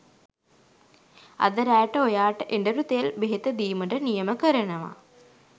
අද රෑට ඔයාට එඬරු තෙල් ඛෙහෙත දීමට නියම කරනවා